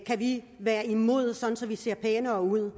kan vi være imod sådan at vi ser pænere ud